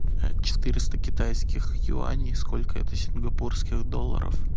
четыреста китайских юаней сколько это сингапурских долларов